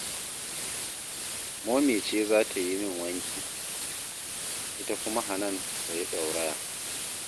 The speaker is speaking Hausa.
Momi ce za ta yi min wanki, ita kuma Hanan ta yi ɗauraya